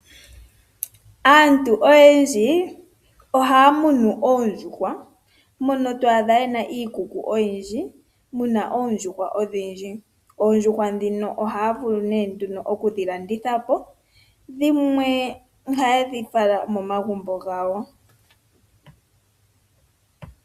Aantu oyendji ohaa munu oondjuhwa, mono twaadha yena iikuku oyindji muna oondjuhwa odhindji. Oondjuhwa dhino ohaa vulu nee nduno okudhilanditha po dhimwe ohaye dhi fala momagumbo gawo.